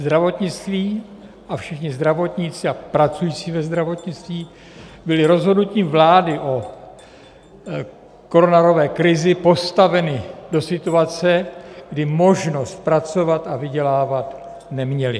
Zdravotnictví a všichni zdravotníci a pracující ve zdravotnictví byli rozhodnutím vlády o koronavirové krizi postaveni do situace, kdy možnost pracovat a vydělávat neměli.